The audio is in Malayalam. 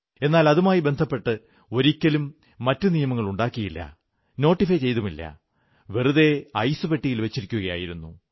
എന്നാൽ അതുമായി ബന്ധപ്പെട്ട് ഒരിക്കലും മറ്റു നിയമങ്ങളുമുണ്ടാക്കിയില്ല നോട്ടിഫൈ ചെയ്തതുമില്ല വെറുതെ ഐസുപെട്ടിയിൽ വച്ചിരിക്കയായിരുന്നു